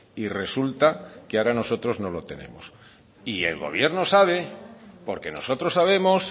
y resulta que ahora nosotros no lo tenemos y el gobierno sabe porque nosotros sabemos